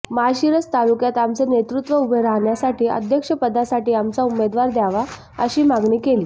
माळशिरस तालुक्यात आमचे नेतृत्व उभे राहण्यासाठी अध्यक्षपदासाठी आमचा उमेदवार द्यावा अशी मागणी केली